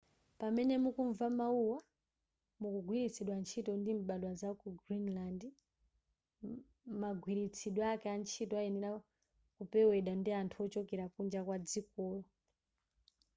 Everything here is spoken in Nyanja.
pamene mukumva mawuwa akugwiritsidwa ntchito ndi mbadwa zaku greenland magwiritsidwe ake a ntchito ayenera kupewedwa ndi anthu ochokera kunja kwadzikolo